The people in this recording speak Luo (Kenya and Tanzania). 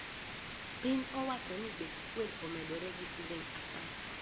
Piny owacho ni bech fuel omedre gi siling apar